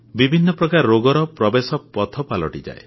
ବିଭିନ୍ନ ପ୍ରକାର ରୋଗର ପ୍ରବେଶ ପଥ ପାଲଟିଯାଏ